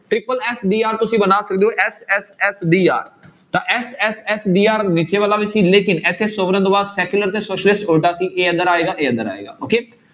tripple s d r ਤੁਸੀਂ ਬਣਾ ਸਕਦੇ ਹੋ s s s d r ਤਾਂ s s s d r ਵਾਲਾ ਵੀ ਸੀ ਲੇਕਿੰਨ ਇੱਥੇ sovereign ਤੋਂ ਬਾਅਦ secular ਤੇ socialist ਉਲਟਾ ਸੀ ਇਹ ਇੱਧਰ ਆਏਗਾ, ਇਹ ਇੱਧਰ ਆਏਗਾ okay